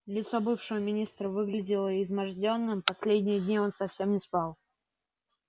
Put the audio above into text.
лицо бывшего министра выглядело измождённым последние дни он совсем не спал